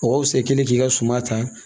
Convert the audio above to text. Mɔgɔ fisa kelen k'i ka suma ta